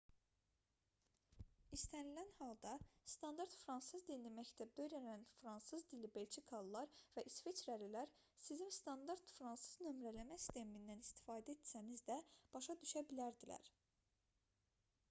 i̇stənilən halda standart fransız dilini məktəbdə öyrənən fransız dilli belçikalılar və i̇sveçrəlilər sizi standart fransız nömrələmə sistemindən istifadə etsəniz də başa düşə bilərdilər